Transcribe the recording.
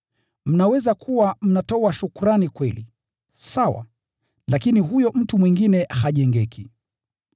Mnaweza kuwa mnatoa shukrani kweli, sawa, lakini huyo mtu mwingine hajengeki.